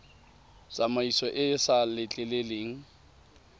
tsamaiso e e sa letleleleng